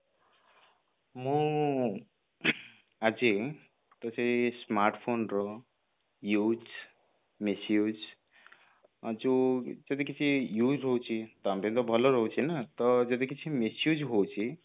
ମୁଁ ଆଜି ସେଇ smartphone ର use misuse ଯୋଉ ଯଦି କିଛି use ହଉଛି ତ ଆମ ପାଇଁ ତ ଭଲ ରହୁଛି ନା ତ ଯଦି କିଛି misuse ହଉଛି